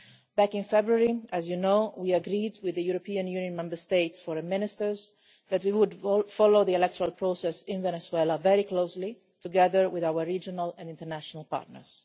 Back in February, as you know, we agreed with the European Union Member States' Foreign Ministers that we would follow the electoral process in Venezuela very closely, together with our regional and international partners.